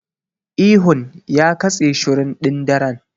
Ihun ya katse shirun ɗin daren.